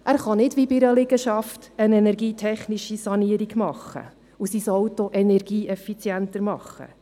Er kann nicht, wie bei einer Liegenschaft, sein Auto durch eine energietechnische Sanierung energieeffizienter machen.